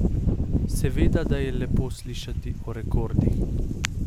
Seveda, da je lepo slišati o rekordih.